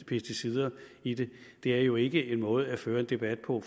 pesticider i det er jo ikke en måde at føre en debat på